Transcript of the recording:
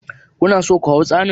Ku na so ku hau tsauni?